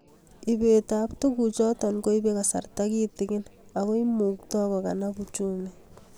Ibet ab tukuk choto koibei kasarta kitikin ako imuktoi kokalab uchumi